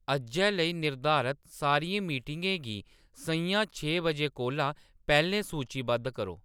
अज्जै लेई निर्धारत सारियें मीटिंग ें गी सʼञां छे बजे कोला पैह्‌‌‌लें सूचीबद्ध करो